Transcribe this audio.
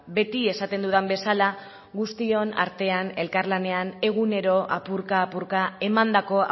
beti esaten dudan bezala guztion artean elkar lanean egunero apurka apurka emandako